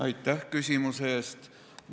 Aitäh küsimuse eest!